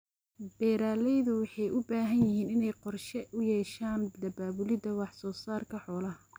Beeraleydu waxay u baahan yihiin inay qorshe u yeeshaan daabulida wax soo saarka xoolaha.